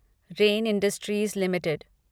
rain Industries limited